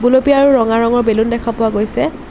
আৰু ৰঙা ৰঙৰ বেলুন দেখা পোৱা গৈছে।